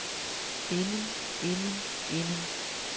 inden inden inden